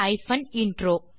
தமிழாக்கம் கடலூர் திவா